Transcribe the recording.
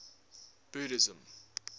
buddhism